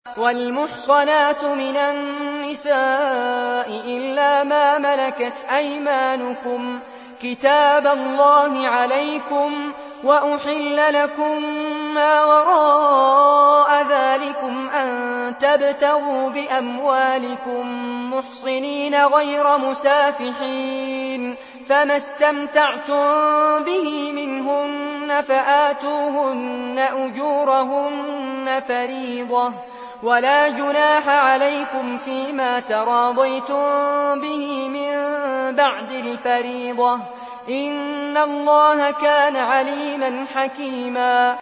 ۞ وَالْمُحْصَنَاتُ مِنَ النِّسَاءِ إِلَّا مَا مَلَكَتْ أَيْمَانُكُمْ ۖ كِتَابَ اللَّهِ عَلَيْكُمْ ۚ وَأُحِلَّ لَكُم مَّا وَرَاءَ ذَٰلِكُمْ أَن تَبْتَغُوا بِأَمْوَالِكُم مُّحْصِنِينَ غَيْرَ مُسَافِحِينَ ۚ فَمَا اسْتَمْتَعْتُم بِهِ مِنْهُنَّ فَآتُوهُنَّ أُجُورَهُنَّ فَرِيضَةً ۚ وَلَا جُنَاحَ عَلَيْكُمْ فِيمَا تَرَاضَيْتُم بِهِ مِن بَعْدِ الْفَرِيضَةِ ۚ إِنَّ اللَّهَ كَانَ عَلِيمًا حَكِيمًا